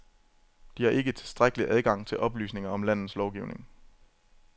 De har ikke tilstrækkelig adgang til oplysninger om landets lovgivning.